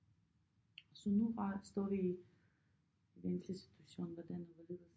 Så nu bare at stå i den situation hvordan og hvorledes